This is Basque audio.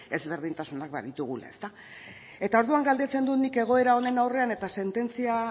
desberdintasuna baditugula eta orduan galdetzen dut nik egoera honen aurrean eta sententzia